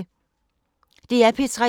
DR P3